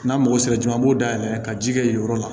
N'an mago sera joona an b'o dayɛlɛ ka ji kɛ yen yɔrɔ la